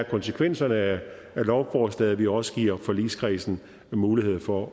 konsekvenserne af lovforslaget at vi også giver forligskredsen mulighed for